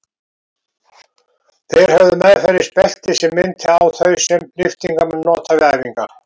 Þeir höfðu meðferðis belti sem minnti á þau sem lyftingamenn nota við æfingar.